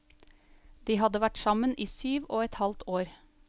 De hadde vært sammen i syv og et halvt år.